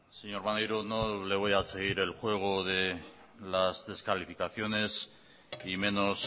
señor maneiro no le voy a seguir el juego de las descalificaciones y menos